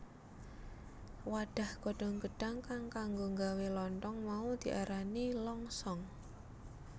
Wadhah godhong gedhang kang kanggo nggawe lonthong mau diarani longsong